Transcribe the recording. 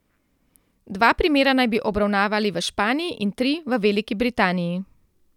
Dva primera naj bi obravnavali v Španiji in tri v Veliki Britaniji.